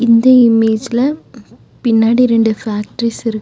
இந்த இமேஜ்ல பின்னாடி ரெண்டு ஃபேக்டரிஸ் இரு --